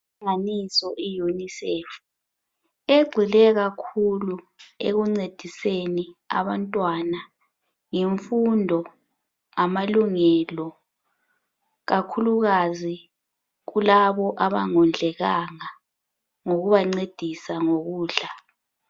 Inhlanganiso yeUNICEF egxile kakhulu ekuncediseni abantwana ngemfundo, ngamalungelo kakhulukazi kulabo abangondlekanga ngokubancedisa ngokudla.